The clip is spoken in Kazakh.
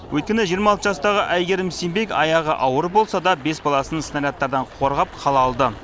өйткені жиырма алты жастағы әйгерім сембек аяғы ауыр болса да бес баласын снарядтардан қорғап қала алды